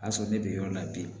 A sɔrɔ ne bɛ yɔrɔ la bi